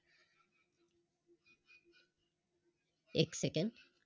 एक Second